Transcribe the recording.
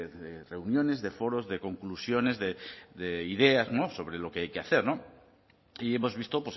de reuniones de foros de conclusiones de ideas sobre lo que hay que hacer y hemos visto